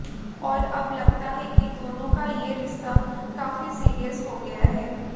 और अब लगता है कि दोनों का ये रिश्ता काफी सीरियस हो गया है